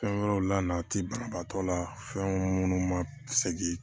Fɛn wɛrɛw la a ti banabaatɔ la fɛn munnu ma segi